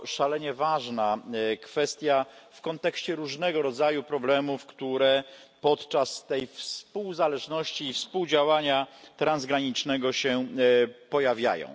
To szalenie ważna kwestia w kontekście różnego rodzaju problemów, które podczas tej współzależności i współdziałania transgranicznego się pojawiają.